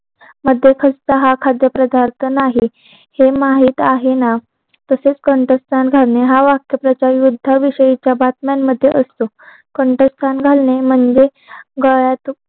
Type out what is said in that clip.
मध्ये खस्ता हा खाद्य पदार्थ नाही हे माहित आहे ना तसे कंठस्था घालणे हा वाक्य प्रचार युद्धा विषयीच्या बातम्यान मध्ये असतो कंठस्था घालणे म्हणजे गळ्यात